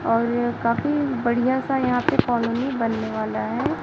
और यह काफी बढ़िया सा यहां पे कॉलोनी बनने वाला है।